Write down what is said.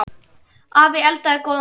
Afi eldaði góðan mat.